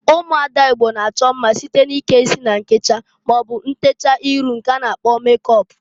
Ụmụada Igbo na-achọ mma site n'ike isi na nkecha maọbụ ntecha iru a na-akpọ mekọp.